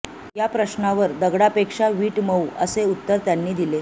या प्रश्नावर दगडापेक्षा वीट मऊ असे उत्तर त्यांनी दिले